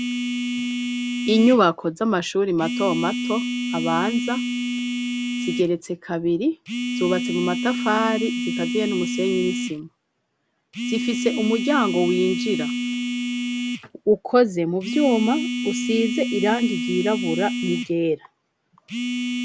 Inyubako z'amashuri mato mato abanza, zigeretse kabiri, zubatse mu matafari, zikazihe n'umusenyi n'isima, zifise umuryango winjira ukoze mu vyuma usize irangi ryirabura n'iryera.